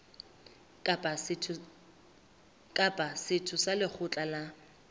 kapa setho sa lekgotla la